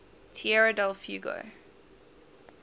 tierra del fuego